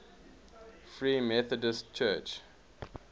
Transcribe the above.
free methodist church